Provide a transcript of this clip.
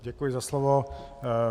Děkuji za slovo.